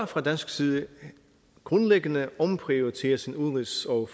fra dansk side grundlæggende omprioritere sin udenrigs og